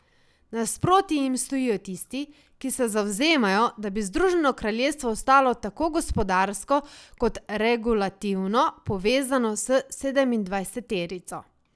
Nasproti jim stojijo tisti, ki se zavzemajo, da bi Združeno kraljestvo ostalo tako gospodarsko kot regulativno povezana s sedemindvajseterico.